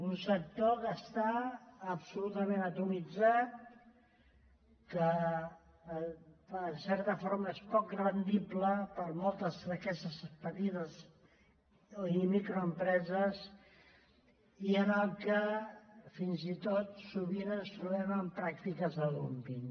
un sector que està absolutament atomitzat que en certa forma és poc rendible per a moltes d’aquestes petites i microempreses i en què fins i tot sovint ens trobem amb pràctiques de dúmping